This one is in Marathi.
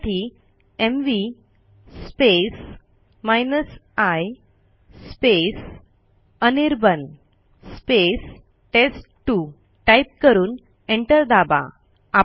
त्यासाठी M V i Anirban test two type करून एंटर दाबा